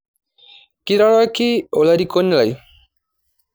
kiroroki olarikoni lai.